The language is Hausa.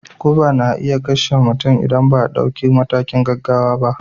Guba na iya kashewa mutum idan ba a dauki matakin gaggawa ba.